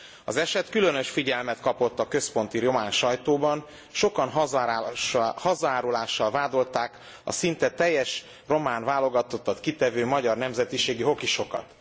Az eset különös figyelmet kapott a központi román sajtóban, sokan hazaárulással vádolták a szinte teljes román válogatottat kitevő magyar nemzetiségű hokisokat.